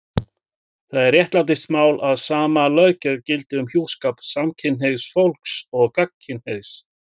Það er réttlætismál að sama löggjöf gildi um hjúskap samkynhneigðs fólks og gagnkynhneigðs.